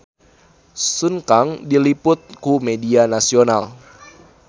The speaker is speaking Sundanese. Sun Kang diliput ku media nasional